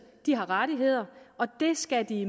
de har rettigheder og det skal de